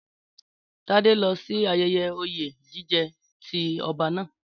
Tádé lọ sí ayẹyẹ oyè jíjẹ ti ọba naa.